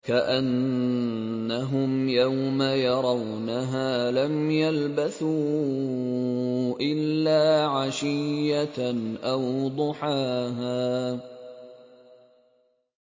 كَأَنَّهُمْ يَوْمَ يَرَوْنَهَا لَمْ يَلْبَثُوا إِلَّا عَشِيَّةً أَوْ ضُحَاهَا